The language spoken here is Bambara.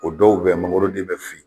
O dɔw bɛ mangoron den bɛɛ fili